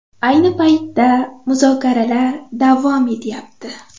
Ayni paytda muzokaralar davom etyapti.